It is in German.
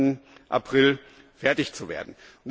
30. April fertig zu werden.